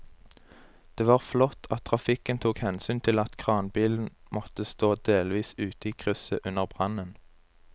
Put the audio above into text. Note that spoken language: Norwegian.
Det var flott at trafikken tok hensyn til at kranbilen måtte stå delvis ute i krysset under brannen.